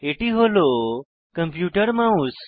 এটি হল computer mouse